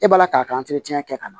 E b'a la k'a ka kɛ ka na